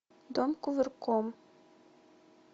дом кувырком